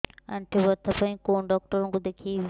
ଆଣ୍ଠୁ ବ୍ୟଥା ପାଇଁ କୋଉ ଡକ୍ଟର ଙ୍କୁ ଦେଖେଇବି